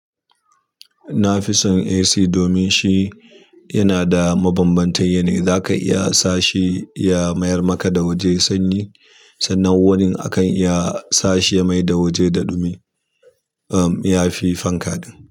Na fi son AC domin shi yana da mabambantan yanayi, zaka iya sa shi ya mayar maka da waje sanyi sannan wurin akan iya sa shi ya maida waje da ɗumi. Am, ya fi fanka ɗin.